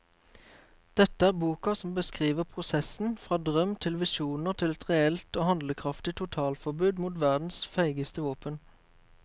Dette er boka som beskriver prosessen fra drøm til visjoner til et reelt og handlekraftig totalforbud mot verdens feigeste våpen.